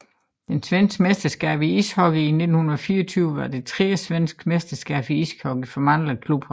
Det svenske mesterskab i ishockey 1924 var det tredje svenske mesterskab i ishockey for mandlige klubhold